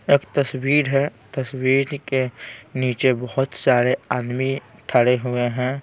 एक तस्वीर हैं तस्वीर के नीचे बहुत सारे आदमी खड़े हुए हैं।